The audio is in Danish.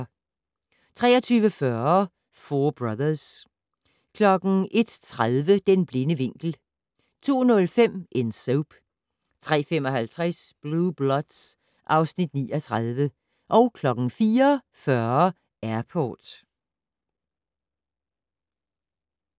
23:40: Four Brothers 01:30: Den blinde vinkel 02:05: En Soap 03:55: Blue Bloods (Afs. 39) 04:40: Airport